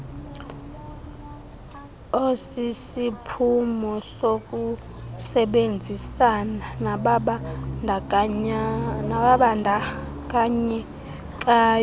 osisiphumo sokusebenzisana nababandakanyekayo